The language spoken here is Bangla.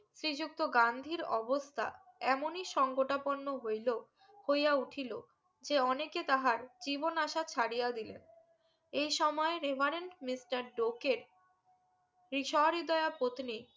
শ্রী যুক্ত গান্ধীর অবস্তা এমনি সংকটাপন্ন হইলো হইয়া উঠিলো যে অনেকে তাহার জীবন আশা ছাড়িয়া দিলেন এই সময় রেভারেন্ট মিস্টার ডোকে রিস্বহৃদয়া পত্নী